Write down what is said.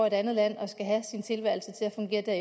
et andet land og skal have sin tilværelse til at fungere der